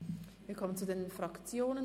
Wir kommen zu den Fraktionen.